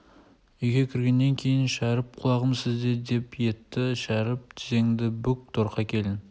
үйге кіргеннен кейін шәріп құлағым сізде деп етті шәріп тізеңді бүк торқа келін